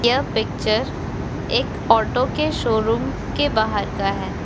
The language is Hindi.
यह पिक्चर एक ओटो के शोरुम के बाहर का है।